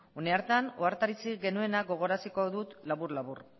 une hartan ohartarazi genuena gogoaraziko dut labur labur